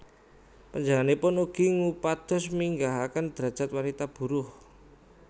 Panjenenganipun ugi ngupados minggahaken drajat wanita buruh